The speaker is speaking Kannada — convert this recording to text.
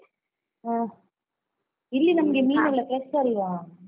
ಹ್ಮ್, ಇಲ್ಲಿ ನಮ್ಗೆ ಮೀನೆಲ್ಲ fresh ಅಲ್ವಾ.